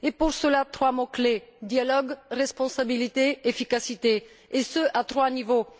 Pour cela, trois mots clés dialogue, responsabilité, efficacité, et ce à trois niveaux.